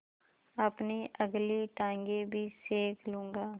अपनी अगली टाँगें भी सेक लूँगा